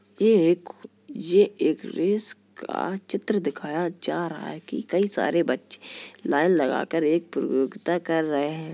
ये एक ये एक रेस का चित्र दिखाया जा रहा है कि कई सारे बच्चे लाइन लगा कर एक प्रतियोगिता कर रहे हैं।